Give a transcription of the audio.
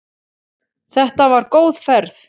Þetta var góð ferð.